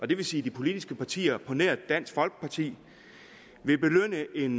det vil sige de politiske partier på nær dansk folkeparti vil belønne en